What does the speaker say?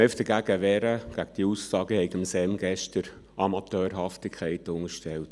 Ich will mich einfach gegen die Aussage wehren, ich hätte dem SEM gestern Amateurhaftigkeit unterstellt.